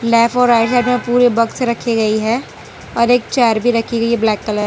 black right side मे पूरे बक्स रखी गयी है और एक चेयर भी रखी गयी है ब्लैक कलर --